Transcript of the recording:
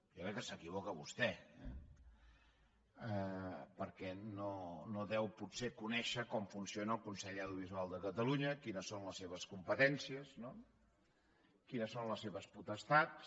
jo crec que s’equivoca vostè perquè no deu potser conèixer com funciona el consell audiovisual de catalunya quines són les seves competències quines són les seves potestats